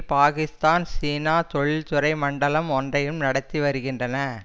பாகிஸ்தான் சீனா தொழில் துறை மண்டலம் ஒன்றையும் நடத்தி வருகின்றன